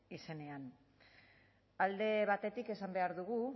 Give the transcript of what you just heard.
izenean alde batetik esan behar dugu